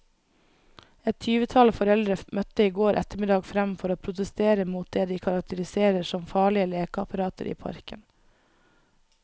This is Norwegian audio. Et tyvetall foreldre møtte i går ettermiddag frem for å protestere mot det de karakteriserer som farlige lekeapparater i parken.